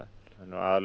en aðallega